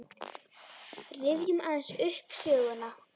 Rifjum aðeins upp söguna.